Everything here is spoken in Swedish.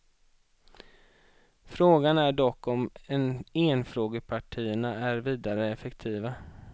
Frågan är dock om enfrågepartierna är vidare effektiva.